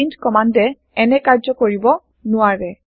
print কমান্দে এনে কাৰ্য্য কৰিব নোৱাৰে